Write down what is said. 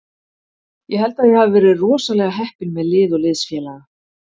Ég held að ég hafi verið rosalega heppinn með lið og liðsfélaga.